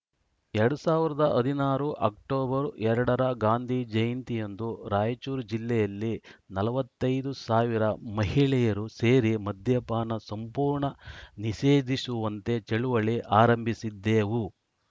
ಎರಡ್ ಸಾವಿರದ ಹದಿನಾರು ಅಕ್ಟೋಬರ್ ಎರಡ ರ ಗಾಂಧಿ ಜಯಂತಿಯಂದು ರಾಯಚೂರು ಜಿಲ್ಲೆಯಲ್ಲಿ ನಲವತ್ತ್ ಐದು ಸಾವಿರ ಮಹಿಳೆಯರು ಸೇರಿ ಮದ್ಯಪಾನ ಸಂಪೂರ್ಣ ನಿಷೇಧಿಸುವಂತೆ ಚಳುವಳಿ ಆರಂಭಿಸಿದ್ದೆವು